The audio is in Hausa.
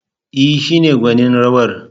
E, shi ne gwanin rawar.